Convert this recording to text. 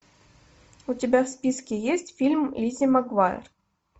у тебя в списке есть фильм лиззи магуайер